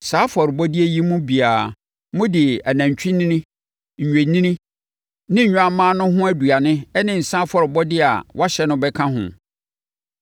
Saa afɔrebɔdeɛ yi mu biara, mode anantwinini, nnwennini ne nnwammaa no ho aduane ne nsã afɔrebɔdeɛ a wɔahyɛ no bɛka ho.